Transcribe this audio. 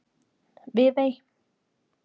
Viðey